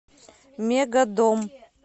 мегадом